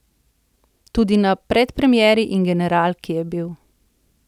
Tudi na predpremieri in generalki je bil.